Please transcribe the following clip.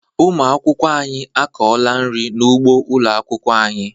Ụmụ akwụkwọ anyị akọọla nri n'ugbo ụlọ akwụkwọ anyị.